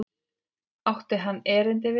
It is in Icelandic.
Átti hann erindi við mig?